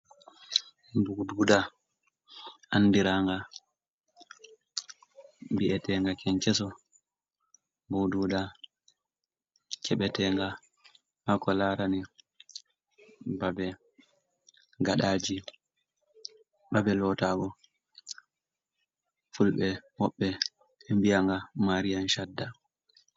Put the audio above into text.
Mbududa andiranga bi’etenga kenceso, mboduda kebetenga hako larani babe gaɗaji babe lota go, fulɓe woɓɓe wiya nga marian shadda.